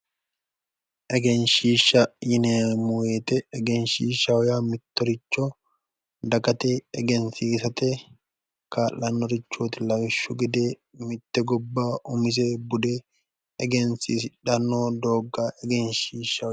Egenshshiidhsha yineemmo woyiite, egenshshiishshaho yaa mittoricho dagate egensiisate kaa'lannorichooti lawishshu gede mitte gobba umise bude egensiisidhanno doogga egenshshiishshaho.